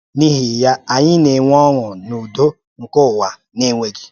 N’ihi ya, anyị na-enwe ọṅụ na udo nke ụwa na-enweghị.